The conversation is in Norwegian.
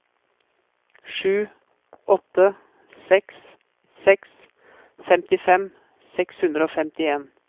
sju åtte seks seks femtifem seks hundre og femtien